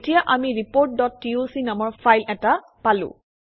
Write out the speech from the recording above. এতিয়া আমি reportটক নামৰ ফাইল এটা পালোঁ